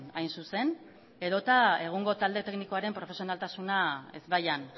hain zuzen edota egungo talde teknikoaren profesionaltasuna ezbaian